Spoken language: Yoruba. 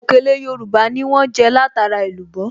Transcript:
Òkèlè Yorùbá ni wọ́n jẹ́ látara èlùbọ́